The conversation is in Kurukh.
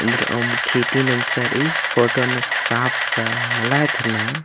एन्दरअम खेती नन्जका रइई फोटो अन्ने साफ मल्ला एथरना।